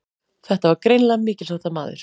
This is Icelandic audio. Þetta var greinilega mikilsháttar maður.